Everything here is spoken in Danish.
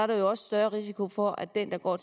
der jo også større risiko for at den der går